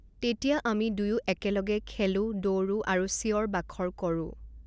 তেতিয়া আমি দুয়ো একেলগে খেলো, দৌৰো, আৰু চিঞৰ বাখৰ কৰোঁ।